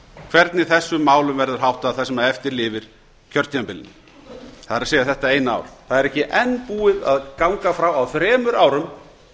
hvernig þessum málum verður háttað það sem eftir lifir af kjörtímabilinu það er þetta eina ár það er ekki enn búið að ganga frá á þremur árum